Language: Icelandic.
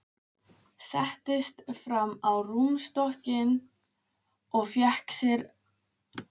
Settist fram á rúmstokkinn og fékk sér í nefið.